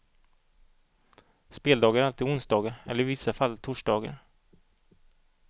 Speldagar är alltid onsdagar eller i vissa fall torsdagar.